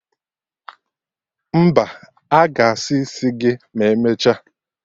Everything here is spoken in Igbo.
Mba, aga asa isi gị ma emecha